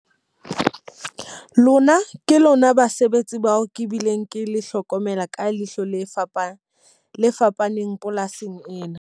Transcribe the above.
Lona ke lona basebetsi bao ke bileng ke le hlokomela ka leihlo le fapana le fapaneng polasing ena.